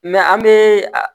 an be